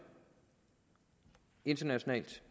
internationalt